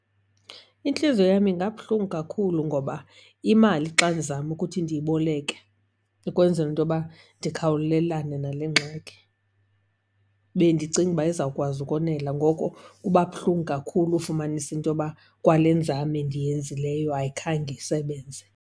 Intliziyo yam ingabuhlungu kakhulu, ngoba imali xa ndizama ukuthi ndiyiboleke ukwenzela into yoba ndikhawulelane nale ngxaki bendicinga uba izawukwazi ukonela. Ngoko kuba buhlungu kakhulu ufumanisa into yoba kwale nzame ndiyenzileyo ayikhange isebenze.